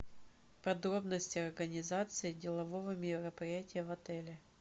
подробности организации делового мероприятия в отеле